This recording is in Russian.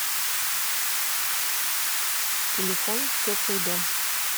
телефон теплый дом